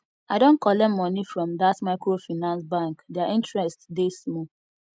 i don collect moni from dat microfinance bank their interest dey small